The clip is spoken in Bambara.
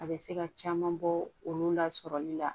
A bɛ se ka caman bɔ olu la sɔrɔli la